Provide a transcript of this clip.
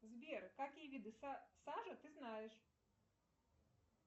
сбер какие виды сажа ты знаешь